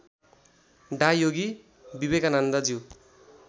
डा योगी विवेकानन्दज्यू